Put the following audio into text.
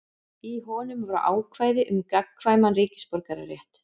Í honum voru ákvæði um gagnkvæman ríkisborgararétt.